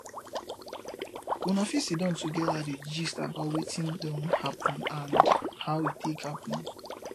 una fit sidon together dey gist about wetin don happen and how e take happen